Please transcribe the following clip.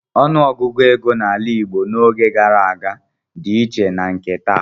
Ọnụọgụgụ ego n'ala Igbo n'oge gara aga dị iche na nke taa.